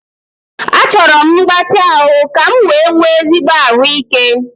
Achọrọ m mgbatị ahụ ka m wee nwee ezigbo ahụike